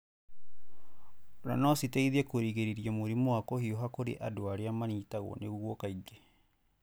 Ona no citeithie kũrigĩrĩria mũrimũ wa kũhiũha kũrĩ andũ arĩa manyitagwo nĩguo kaingĩ.